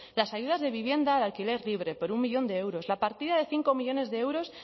las ayudas de vivienda al alquiler libre por un millón de euros la partida de cinco millónes de euros